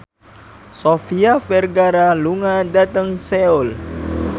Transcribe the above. Sofia Vergara lunga dhateng Seoul